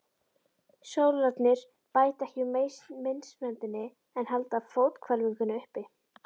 Sólarnir bæta ekki úr meinsemdinni en halda fóthvelfingunni uppi.